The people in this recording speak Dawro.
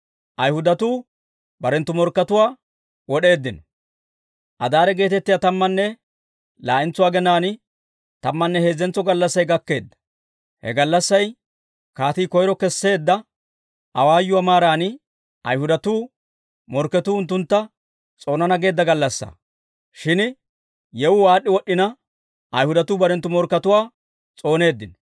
Adaare geetettiyaa tammanne laa'entso aginaan tammanne heezzentso gallassay gakkeedda. He gallassay, kaatii koyro kesseedda awaayuwaa maaran Ayhudatuu morkketuu unttuntta s'oonana geedda gallassaa. Shin yewuu aad'd'i wod'd'ina, Ayhudatuu barenttu morkkatuwaa s'ooneeddino.